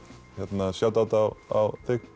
set þetta á þig Árný